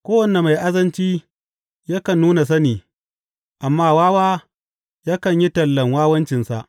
Kowane mai azanci yakan nuna sani, amma wawa yakan yi tallen wawancinsa.